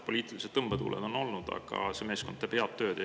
Poliitilised tõmbetuuled on olnud, aga see meeskond teeb head tööd.